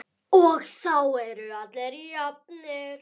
Og þá eru allir jafnir.